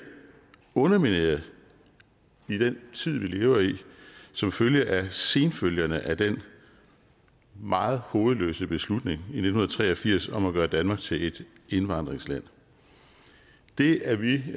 undermineret i den tid vi lever i som følge af senfølgerne af den meget hovedløse beslutning i nitten tre og firs om at gøre danmark til et indvandringsland det er vi i